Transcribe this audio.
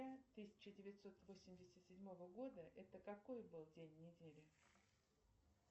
тысяча девятьсот восемьдесят седьмого года это какой был день недели